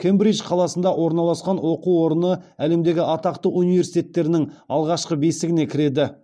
кембридж қаласында орналасқан оқу орны әлемдегі атақты университеттерінің алғашқы бестігіне кіреді